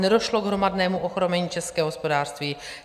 Nedošlo k hromadnému ochromení českého hospodářství.